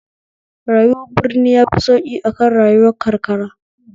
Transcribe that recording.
Rayuwar birni yafi sauki akan rayuwar karkara